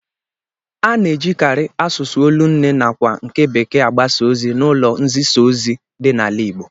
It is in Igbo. A na-ejikarị asụsụ olu nne nakwa nke bekee agbasa ozi n'ụlọ nzisaozi dị n'ala Igbo